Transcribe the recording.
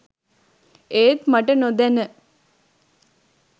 ඒත් මට නොදැන